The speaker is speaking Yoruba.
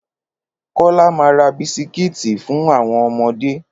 Kólá ma ra bisikítì fún àwọn ọmọdé.